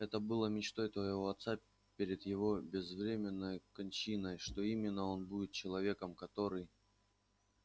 это было мечтой твоего отца перед его безвременной кончиной что именно он будет человеком который